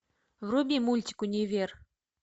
вруби мультик универ